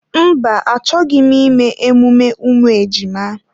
Mba, achọghị m ime emume ụmụ ejima